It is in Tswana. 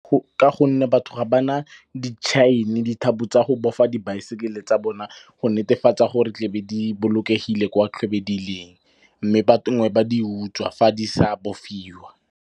Ka gonne batho ga ba na dithapo tsa go bofa dibaesekele tsa bone go netefatsa gore tle be di bolokegile kwa tle be di leng. Mme nngwe ba di utswa fa di sa bofiwa.